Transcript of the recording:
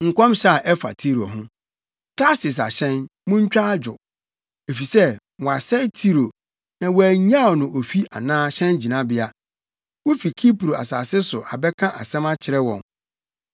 Nkɔmhyɛ a ɛfa Tiro ho: Tarsis ahyɛn, muntwa adwo! Efisɛ wɔasɛe Tiro na wɔannyaw no ofi anaa hyɛngyinabea. Wufi Kipro asase so abɛka asɛm akyerɛ wɔn.